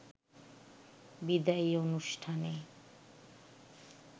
বিদায়ী অনুষ্ঠানে